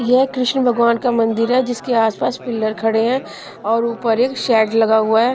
यह कृष्ण भगवान का मंदिर है जिसके आसपास पिलर खड़े हैं और ऊपर एक शेड लगा हुआ है।